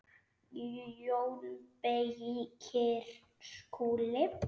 JÓN BEYKIR: Skúli!